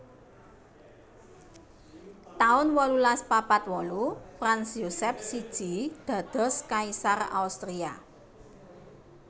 taun wolulas papat wolu Franz Josef siji dados kaisar Austria